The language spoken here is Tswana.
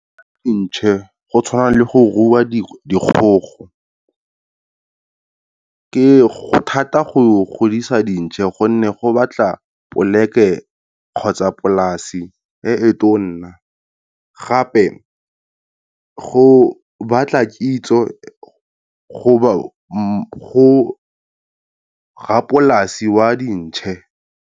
Ntšhe go tshwana le go rua di dikgogo, ke, go thata go godisa dintšhe gone go batla poleke kgotsa polasi e e tona, gape go batla ke itse go rrapolasi wa dintšhe.